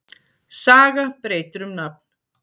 Saga breytir um nafn